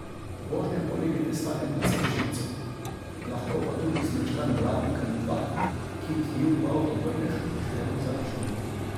Vožnja po levi te stane precej živcev, lahko pa tudi zmečkan blatnik ali dva, ki ti ju, ko avto vrneš, pošteno zaračunajo.